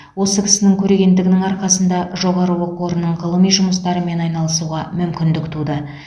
осы кісінің көрегендігінің арқасында жоғары оқу орынның ғылыми жұмыстармен айналысуға мүмкіндік туды